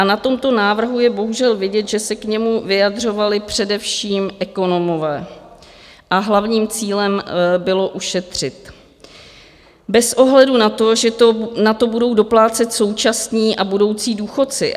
A na tomto návrhu je bohužel vidět, že se k němu vyjadřovali především ekonomové a hlavním cílem bylo ušetřit bez ohledu na to, že na to budou doplácet současní a budoucí důchodci.